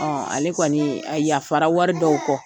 Ale kɔni a yafara wari dɔw kɔ.